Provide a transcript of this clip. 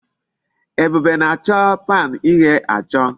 Ebube na-acho pan ighe acho